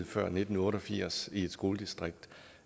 før nitten otte og firs i et skoledistrikt